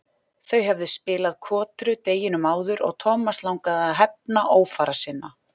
Þeir höfðu spilað kotru deginum áður og Thomas langaði að hefna ófara sinna.